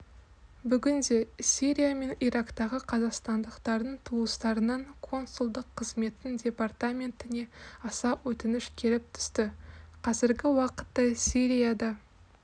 бүгінде сирия мен ирактағы қазақстандықтардың туыстарынан консулдық қызметтің департаментіне аса өтініш келіп түсті қазіргі уақытта сирияда